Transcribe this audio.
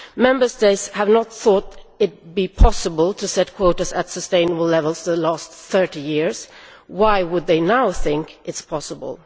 Member States have not thought it possible' to set quotas at sustainable levels over the last 30 years, so why would they now think it is possible?